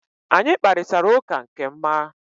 Anyị kparịtara ụka nke ma